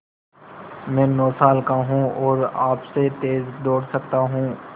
मैं नौ साल का हूँ और आपसे तेज़ दौड़ सकता हूँ